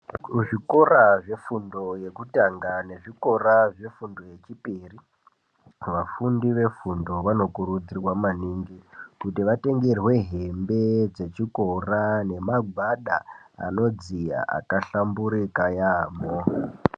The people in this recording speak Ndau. Kuzvikora zvefundo yekutanga nekuzvikora zvefundo yechipiri vafundi vefundo vanokurudzirwa maningi kuti vatengerwe hembe dzechikora Ngemagwada anodziya akahlamburika yambo.